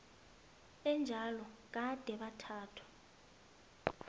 enjalo gade bathathwa